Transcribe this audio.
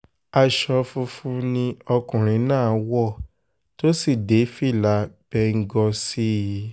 aṣọ funfun ni ọkùnrin náà wọ̀ tó sì dé fìlà bẹ́ńgòó sí i